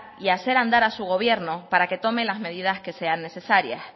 y hacer andar a su gobierno para que tome las medidas que sean necesarias